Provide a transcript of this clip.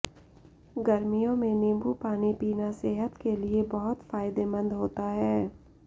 गर्मियों में नींबू पानी पीना सेहत के लिए बहुत फायदेमंद होता है